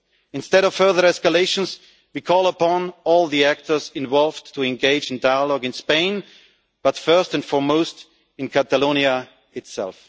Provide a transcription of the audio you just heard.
Instead of further escalations, we call upon all the actors involved to engage in dialogue in Spain, but first and foremost in Catalonia itself.